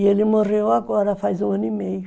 E ele morreu agora faz um ano e meio.